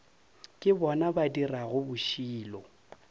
ke bona ba dirago bošilo